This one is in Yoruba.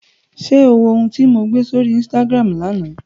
Ṣé o wo ohun tí mo gbé sórí Instagram lánàá?